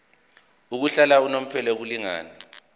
yokuhlala unomphela kumlingani